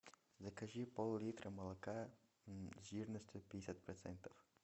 закажи пол литра молока жирность пятьдесят процентов